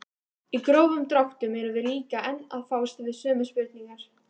Í grófum dráttum erum við líka enn að fást við sömu spurningar.